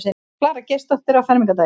Klara Geirsdóttir á fermingardaginn.